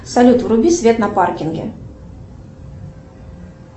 салют вруби свет на паркинге